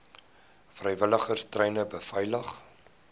vrywilligers treine beveilig